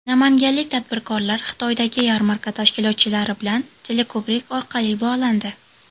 Namanganlik tadbirkorlar Xitoydagi yarmarka tashkilotchilari bilan teleko‘prik orqali bog‘landi.